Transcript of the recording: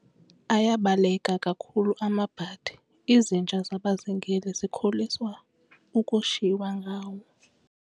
Ayabaleka kakhulu amabhadi, izinja zabazingeli zikholisa ukushiywa ngawo.